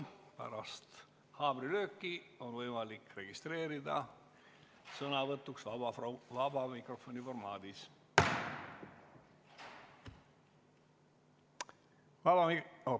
Pärast haamrilööki on võimalik registreerida sõnavõtuks vabas mikrofonis.